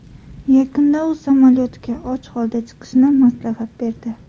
Yakunda u samolyotga och holda chiqishni maslahat berdi.